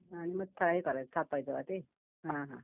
थापायचं का ते? हं हं